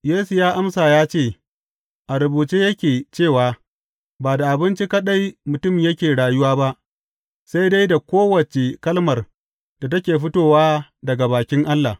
Yesu ya amsa ya ce, A rubuce yake cewa, Ba da abinci kaɗai mutum yake rayuwa ba, sai dai da kowace kalmar da take fitowa daga bakin Allah.’